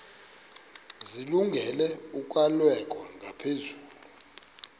zilungele ukwalekwa ngaphezulu